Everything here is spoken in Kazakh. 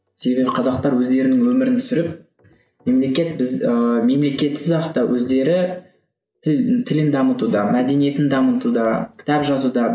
себебі қазақтар өздерінің өмірін сүріп мемлекет біз ыыы мемлекетсіз ақ та өздері тіл тілін дамытуда мәдениетін дамытуда кітап жазуда